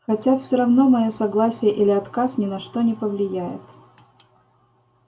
хотя всё равно моё согласие или отказ ни на что не повлияет